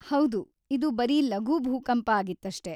ಹೌದು, ಇದು ಬರೀ ಲಘು ಭೂಕಂಪ ಆಗಿತ್ತಷ್ಟೇ.